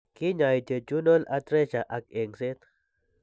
Kiny'ay jejunal atresia ak eng'seet.